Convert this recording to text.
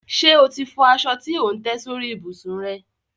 Ṣe o ti fọ aṣọ tí ò ń tẹ́ sórí ìbùsùn rẹ?